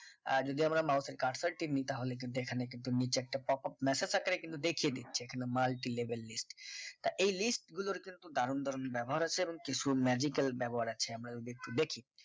আহ যদি আমরা mouse এর cursor টা নি তাহলে কিন্তু এখানে কিন্তু নিচের একটা popup message আকারে কিন্তু দেখিয়ে দিচ্ছে এখানে multilevel list তা এই list গুলোর দারুণ দারুণ ব্যবহার আছে এবংকিছু magical ব্যবহার আছে আমরা যদি একটু দেখি